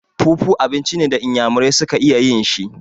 Fufu abinci ne da inyamurai su ka iya yin shi.